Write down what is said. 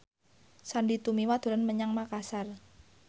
Sandy Tumiwa dolan menyang Makasar